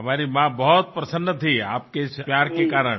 हमारी माँ बहुत प्रसन्न थी आपके इस प्यार के कारण